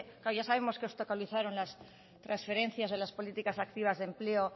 claro ya sabemos que os obstaculizaron las transferencias de las políticas activas de empleo